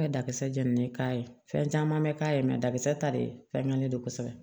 Ka dakasa jeni k'a ye fɛn caman bɛ k'a ye dakisɛ ta de fɛngɛlen don kosɛbɛ